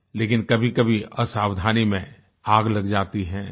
लेकिन कभीकभी असावधानी में आग लग जाती है